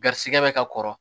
Garisigɛ bɛ ka kɔrɔ